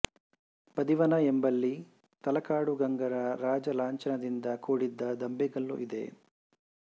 ಬದಿವನ ಎಂಬಲ್ಲಿ ತಲಕಾಡು ಗಂಗರ ರಾಜಾಲಾಂಛಣದಿಂದ ಕೂಡಿದ್ದ ದಂಬೆಕಲ್ಲು ಇದೆ